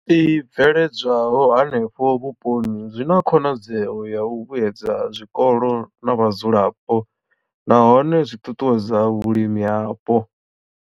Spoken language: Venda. I bveledzwaho henefho vhuponi zwi na khonadzeo ya u vhuedza zwikolo na vhadzulapo nahone zwi ṱuṱuwedza vhulimi hapo.